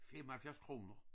75 kroner